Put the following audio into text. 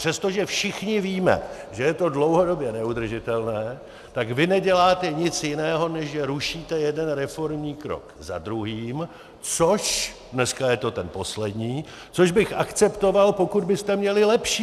Přestože všichni víme, že je to dlouhodobě neudržitelné, tak vy neděláte nic jiného, než že rušíte jeden reformní krok za druhým, což - dneska je to ten poslední - což bych akceptoval, pokud byste měli lepší.